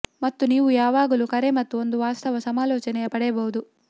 ಮತ್ತು ನೀವು ಯಾವಾಗಲೂ ಕರೆ ಮತ್ತು ಒಂದು ವಾಸ್ತವ ಸಮಾಲೋಚನೆಯ ಪಡೆಯಬಹುದು